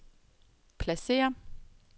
pladsér